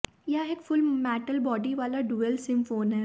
यह एक full metal body वाला डुअल सिम फोन है